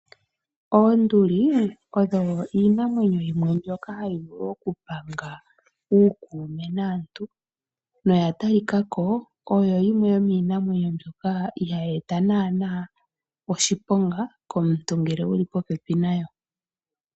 Oonduli odho iinamwenyo yimwe mbyono hayi vulu okupanga uukume naantu, noya talikako oyo yimwe yomiinamwenyo mbyoka ihaayi eta naana oshiponga komuntu ngele wuli popepi nayo.